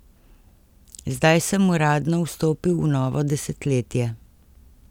Zdaj sem uradno vstopil v novo desetletje.